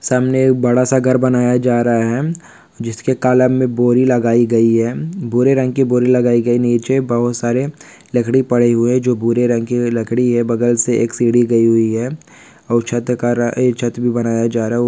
सामने एक बड़ा सा घर बनाया जा रहा है जिसके कालम मे बोरी लगाई गई है भूरे रंग की बोरी लगाई गई नीचे बहुत सारे लकड़ी पड़े हुए जो भूरे रंग की लकड़ी है बगल से एक सीड़ी गई हुई है और छत कारा एक छत भी बनाया जा रहा--